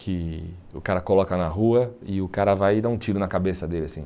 que o cara coloca na rua e o cara vai dar um tiro na cabeça dele assim.